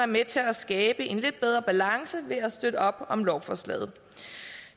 med til at skabe en lidt bedre balance ved at støtte op om lovforslaget